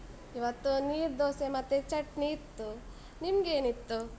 ಇವತ್ತು ನೀರ್ದೋಸೆ ಮತ್ತೆ ಚಟ್ನಿ ಇತ್ತು, ನಿಮ್ಗೇನ್ ಇತ್ತು?